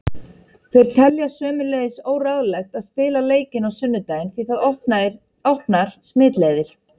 Þeir telja sömuleiðis óráðlegt að spila leikinn á sunnudaginn því það opnar smitleiðir.